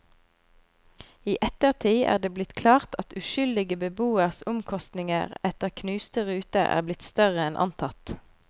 I ettertid er det blitt klart at uskyldige beboeres omkostninger etter knuste ruter er blitt større enn antatt.